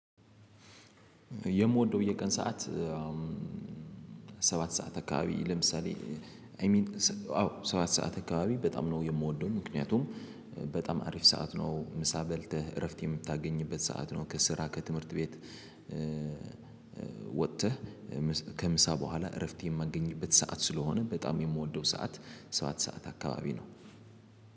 የምወደው የቀን ሰዓት ሰባት ሰዓት አካባቢ ለምሳሌ አይ ሚን አዎ ሰባት ሰዓት አካባቢ በጣም ነው የምወደውን ምክንያቱም በጣም አሪፍ ሰዓት ነው ምሳ በልተህ እረፍት የምታገኝበት ሰዓት ነው ከስራ ከትምህርት ቤት ወጥተህ ከምሳ በኋላ እረፍት የማገኝበት ሰዓት ስለሆነ በጣም የምወደው ሰዓት ሰዓት ሰዓት አካባቢ ነው።